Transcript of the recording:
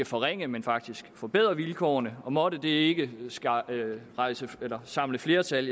forringe men faktisk forbedre vilkårene og måtte det ikke samle flertal